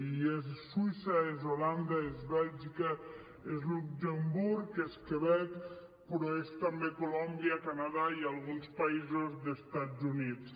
i és suïssa és holanda és bèlgica és luxemburg és quebec però és també colòmbia canadà i alguns països d’estats units